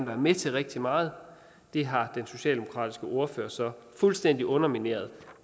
være med til rigtig meget har den socialdemokratiske ordfører så fuldstændig undermineret